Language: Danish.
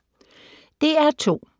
DR2